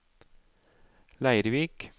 Leirvik